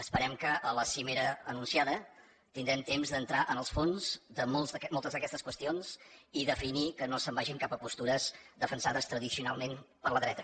esperem que a la cimera anunciada tindrem temps d’entrar en els fons de moltes d’aquestes qüestions i definir que no se’n vagin cap a postures defensades tradicionalment per la dreta